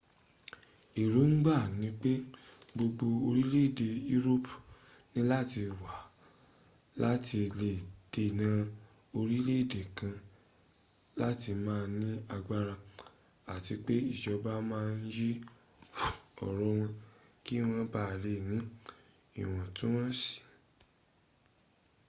èróngbà ni pé gbogbo orílẹ̀ èdè europe níláti wà láti lè dènà orílẹ̀ èdè kan láti má ní agbára àti pé ìjọba ma ń yí ọ̀rẹ́ wọn kí wọ́n bá lè ní ìwọ̀ntúnwọ̀nsí